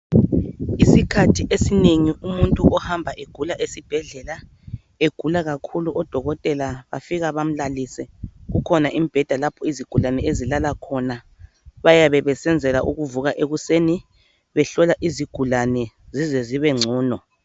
Isikhathi esiningi umuntu ohamba egula esibhedlela egula kakhulu odokotela bafika bamlalise kukhona imibheda lapho izigulani ezilala khona bayabe besenzela ukuvuka ekuseni behlola izigulane zize zibe ngcono